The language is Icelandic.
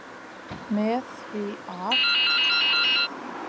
Með því að.